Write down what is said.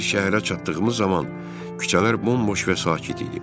Biz şəhərə çatdığımız zaman küçələr bomboş və sakit idi.